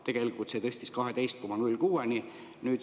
Tegelikult see tõstis 12,06%-ni.